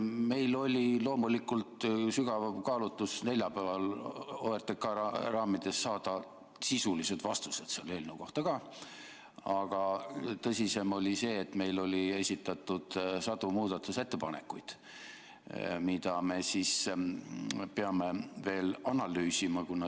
Meil oli loomulikult sügav soov neljapäeval OTRK raamides saada sisulised vastused selle eelnõu kohta ka, aga tagasivõtmise põhjus oli see, et meile oli esitatud sadu muudatusettepanekuid, mida me peame veel analüüsima.